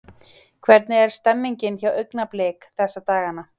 Hvernig er stemningin hjá Augnablik þessa dagana?